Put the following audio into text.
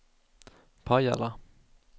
Pajala